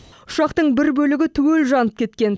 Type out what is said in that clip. ұшақтың бір бөлігі түгел жанып кеткен